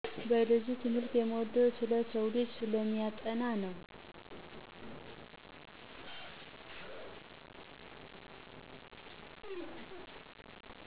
ባዮሎጂ ትምህርት የምወደው ስለ ሰውልጂ ስለሚያጠና ነው።